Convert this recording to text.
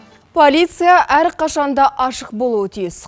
полиция әр қашанда ашық болуы тиіс